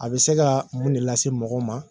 A bɛ se ka mun de lase mɔgɔ ma